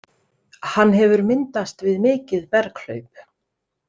Hann hefur myndast við mikið berghlaup.